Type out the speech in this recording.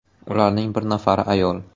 Ularning bir nafari ayol.